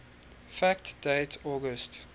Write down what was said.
fact date august